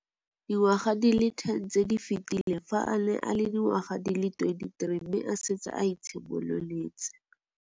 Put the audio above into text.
Dingwaga di le 10 tse di fetileng, fa a ne a le dingwaga di le 23 mme a setse a itshimoletse